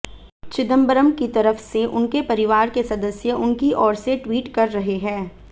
चिदम्बरम की तरफ से उनके परिवार के सदस्य उनकी ओर से ट्वीट कर रहे हैं